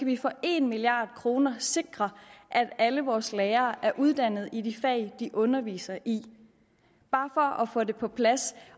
vi for en milliard kroner sikre at alle vores lærere er uddannet i de fag de underviser i bare for at få det på plads